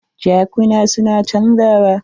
Jakuna su na canjawa.